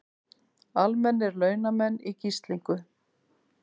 Almennir launamenn í gíslingu